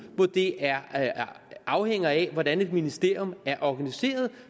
hvor det afhænger af hvordan et ministerium er organiseret